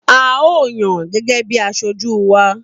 A o yan gẹ́gẹ́ bí asojú wa.